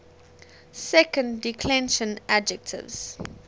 second declension adjectives